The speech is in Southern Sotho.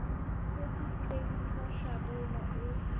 se fetileng sa hlabula e